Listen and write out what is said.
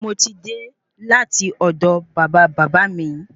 Moti dé láti ọdọ bàba bàbá mi